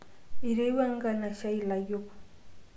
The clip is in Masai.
etoiwuo enkanaishiai ilayiok